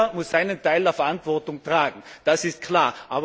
Jeder muss seinen Teil der Verantwortung tragen, das ist klar.